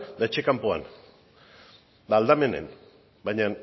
eta etxe kanpoan eta aldamenean baina